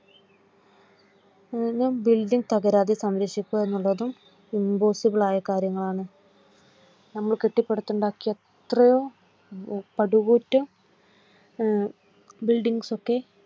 building തകരാതെ സംര ക്ഷിക്കുക എന്നതും Impossible ളായ കാര്യംങ്ങളാണ് നമ്മൾ കെട്ടിപ്പടുത്തു ഉണ്ടാക്കിയ എത്രയോ പടുകൂറ്റൻ buildings ഒക്കെ